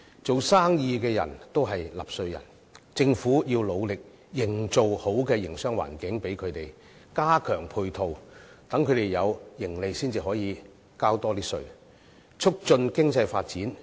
做生意的都是納稅人，政府要努力為他們營造良好的營商環境，加強配套，讓他們有盈利，然後才可以交更多稅款，促進經濟發展。